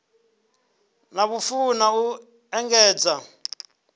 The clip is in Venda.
na vhufuwi na u engedza